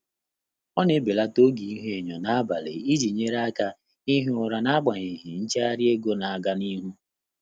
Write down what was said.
Ọ́ nà-ébèlàtà ògé íhúényó n’ábàlị̀ ìjí nyéré áká íhí ụ́rà n’ágbànyéghị́ nchéghárị́ égo nà-ágá n’íhú.